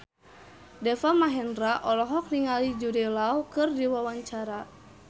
Deva Mahendra olohok ningali Jude Law keur diwawancara